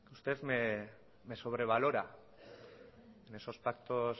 usted me sobrevalora en esos pactos